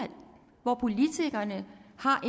hvor politikerne har